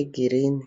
egirini.